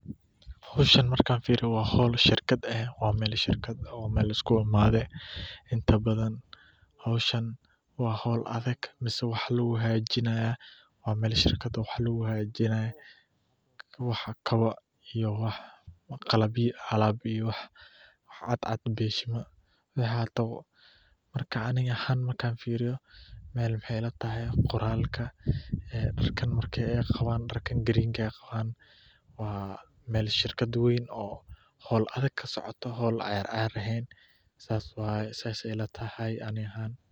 Howshan markaan fiiriyo waa meel shirkad ah, waa howl adag, waxa fudud iyo waxa cadcad, markaan fiiri qoraalka, waa shirkad weyn oo howl adag kasocoto.